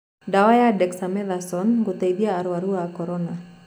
Ndawa ya Dexamethasone gũteithia arwaru a Korona.